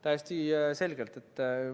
Täiesti selge.